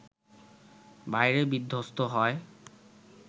বাইরে বিধ্বস্ত হয়